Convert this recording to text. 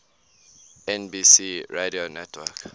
nbc radio network